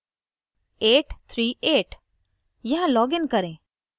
kgm838